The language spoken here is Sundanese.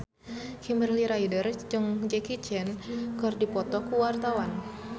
Kimberly Ryder jeung Jackie Chan keur dipoto ku wartawan